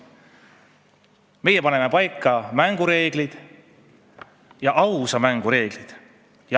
Meie paneme paika mängureeglid ja ausa mängu reeglid.